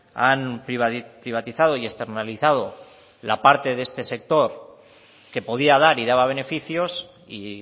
han privatizado y externalizado la parte de este sector que podía dar y daba beneficios y